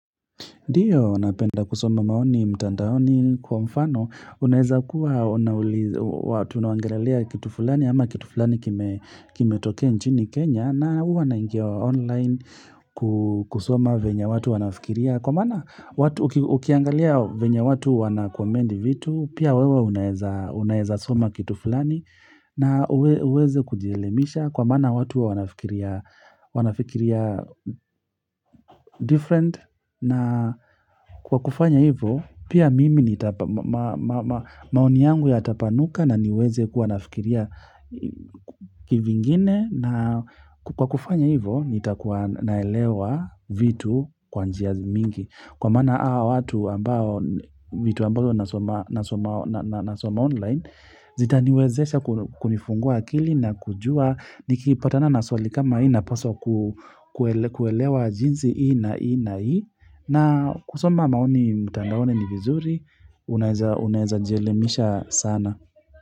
Dio, napenda kusoma maoni, mtandaoni, kwa mfano, unaeza kuwa, unauliza, watu unaongerelea kitu fulani, ama kitu fulani kimetokea nchini Kenya, na huwa naingia online kusoma venye watu wanafikiria, kwa mana watu ukiangalia venye watu wanacomment vitu, pia wewe unaeza unaeza soma kitu fulani, na uweze kujielimisha, kwa mana watu wanafikiria different, na kwa kufanya hivo, pia mimi nita maoni yangu yatapanuka na niweze kuwa nafikiria kivingine na kwa kufanya hivo, nitakuwa naelewa vitu kwa njia mingi. Kwa maana hawa watu ambao, vitu ambavyo nasoma nasoma online, zita niwezesha kunifungua akili na kujua, nikipatana na swali kama hii na paswa kuelewa jinsi hii na hii na hii, na kusoma maoni mtandaoni ni vizuri, unaeza jielemisha sana.